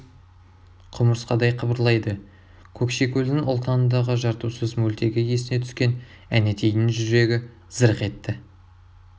құмырсқадай қыбырлайды көкшекөлдің ұлтанындағы жартусыз мөлтегі есіне түскен әнетейдің жүрегі зырқ етті